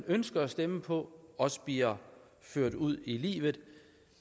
ønsker at stemme på også bliver ført ud i livet